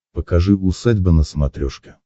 покажи усадьба на смотрешке